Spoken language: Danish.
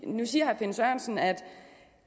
nu siger herre finn sørensen at